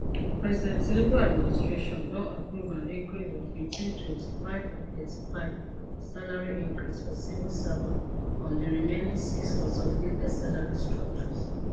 president tinubu administration don approve an increase of between 25 and 35 for salary increase for civil servants on di remaining six consolidated salary structures